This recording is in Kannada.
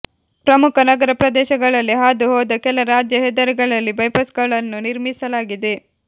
ಪ್ರಮುಖ ನಗರ ಪ್ರದೇಶಗಳಲ್ಲಿ ಹಾದು ಹೋದ ಕೆಲ ರಾಜ್ಯ ಹೆದ್ದಾರಿಗಳಲ್ಲಿ ಬೈಪಾಸ್ಗಳನ್ನು ನಿರ್ಮಿಸಲಾಗಿದೆ